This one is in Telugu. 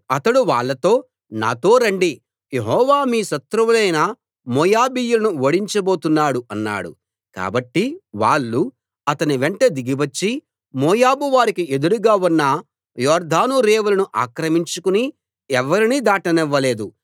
అతడు వాళ్ళతో నాతో రండి యెహోవా మీ శత్రువులైన మోయాబీయులను ఓడించబోతున్నాడు అన్నాడు కాబట్టి వాళ్ళు అతని వెంట దిగివచ్చి మోయాబువారికి ఎదురుగా ఉన్న యొర్దాను రేవులను ఆక్రమించుకుని ఎవరినీ దాటనివ్వలేదు